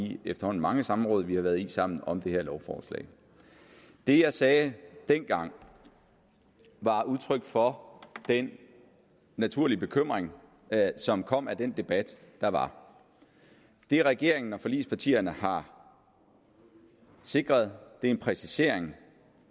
de efterhånden mange samråd vi har været i sammen om det her lovforslag det jeg sagde dengang var udtryk for den naturlige bekymring som kom af den debat der var det regeringen og forligspartierne har sikret er en præcisering